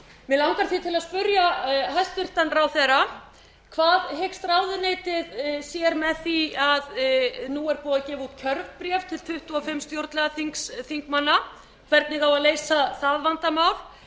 mig langar því til að spyrja hæstvirtan ráðherra hvað hyggst ráðuneytið með því að nú er búið að gefa út kjörbréf til tuttugu og fimm stjórnlagaþingsþingmanna hvernig á að leysa það vandamál